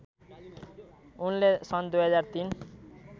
उनले सन् २००३